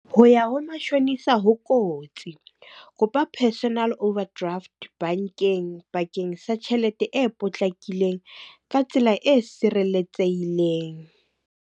Ho ya ho mashonisa ho kotsi, kopa personal overdraft bankeng bakeng sa tjhelete e potlakileng, ka tsela e sireletsehileng.